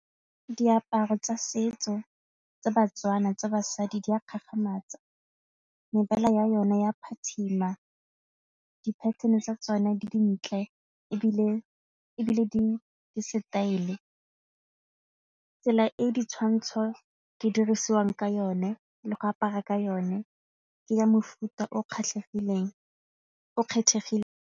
Diaparo tsa setso tsa ba-Tswana tsa basadi di a gagamatsa mebala ya yona ya phatsima di-pattern-e tsa tsone di dintle ebile di-style. Tsela e ditshwantsho di dirisiwang ka yone le go apara ka yone ke ya mofuta o kgethegileng .